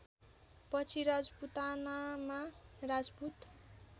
पछि राजपूतानामा राजपूत